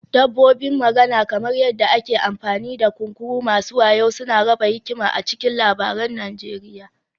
Dabbobin magana, kamar yadda ake amfani da kunkuru masu wayo suna raba hikima a cikin labarun Najeriya